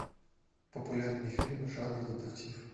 популярные фильмы жанра детектив